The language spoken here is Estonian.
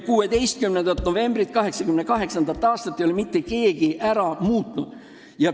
16. novembril 1988. aastal otsustatut ei ole mitte keegi ära muutnud.